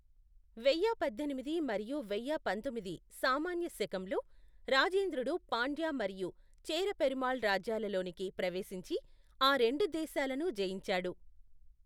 వెయ్య పద్దెనిమిది మరియు వెయ్య పంతొమ్మిది సామాన్య శకంలో, రాజేంద్రుడు పాండ్య మరియు చేర పెరుమాళ్ రాజ్యాలలోనికి ప్రవేశించి, ఆ రెండు దేశాలను జయించాడు.